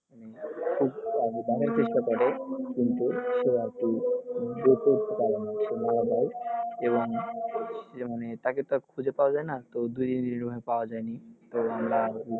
নামার চেষ্টা করে কিন্তু সে আরকি এবং এর জন্য তো তাকে তো আর খুঁজে পাওয়া যায়না তো দুই দিন এভাবে পাওয়া যায়নি তো